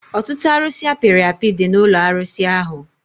Ọtụtụ arusi apiri api dị n'ụlọ arụsi ahụ